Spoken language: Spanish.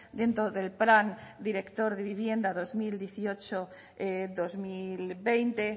dentro del plan director de vivienda dos mil dieciocho dos mil veinte